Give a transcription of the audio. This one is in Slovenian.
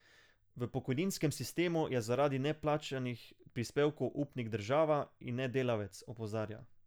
V pokojninskem sistemu je zaradi neplačanih prispevkov upnik država in ne delavec, opozarja.